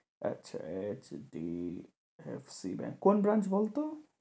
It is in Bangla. আচ্ছা, HDFC Bank কোন branch বল তো?